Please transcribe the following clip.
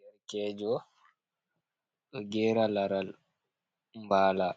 Derkejo do gera laral bala,